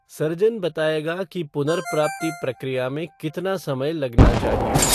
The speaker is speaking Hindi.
सर्जन बताएगा कि पुनर्प्राप्ति प्रक्रिया में कितना समय लगना चाहिए।